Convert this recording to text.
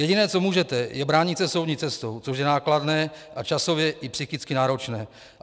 Jediné, co můžete, je bránit se soudní cestou, což je nákladné a časově i psychicky náročné.